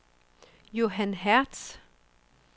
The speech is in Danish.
Johan Hertz